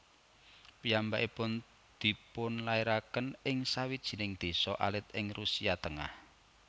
Piyambakipun dipunlairaken ing sawijining désa alit ing Rusia tengah